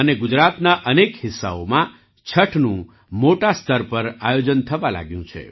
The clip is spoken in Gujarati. ગુજરાતના અનેક હિસ્સાઓમાં છઠનું મોટા સ્તર પર આયોજન થવા લાગ્યું છે